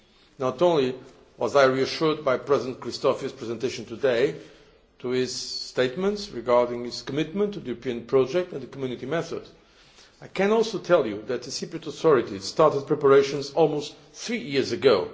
Not only was I reassured by President Christofias's presentation today, by his statements regarding his commitment to the European project and the Community method, I can also tell you that the Cyprus authorities started preparations almost three years ago.